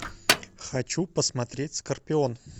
хочу посмотреть скорпион